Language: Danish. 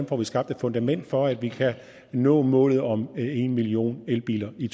får skabt et fundament for at vi kan nå målet om en million elbiler i